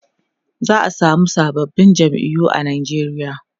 za'a samu sababbin jam'iyu a Nigeria